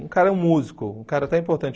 Um cara músico, um cara até importante.